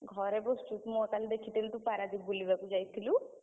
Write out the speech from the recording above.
ଘରେ ବସଚୁ ମୁଁ ବା କାଲି ଦେଖିଥିଲି ତୁ ପାରାଦ୍ୱୀପ ବୁଲିବାକୁ ଯାଇଥିଲୁ!